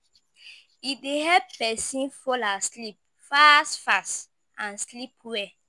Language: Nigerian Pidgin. E dey help pesin fall asleep fast fast and sleep well.